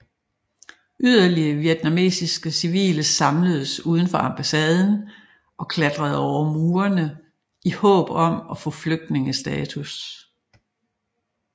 Yderligere vietnamesiske civile samledes uden for ambassaden og klatrede over murene i håb om at få flygtningestatus